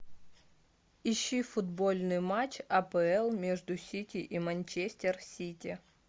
ищи футбольный матч апл между сити и манчестер сити